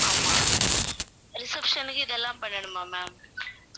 ஆமாம் reception க்கு இதெல்லாம் பண்ணனுமா ma'am